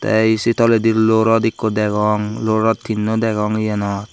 tey ee sei toledi luo rot ekko degong luo rot tinno degong yenot.